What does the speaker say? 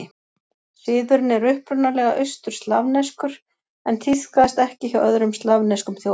Siðurinn er upprunalega austur-slavneskur en tíðkaðist ekki hjá öðrum slavneskum þjóðum.